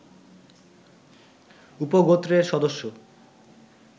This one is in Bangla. উপগোত্রের সদস্য